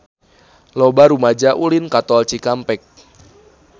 Loba rumaja ulin ka Tol Cikampek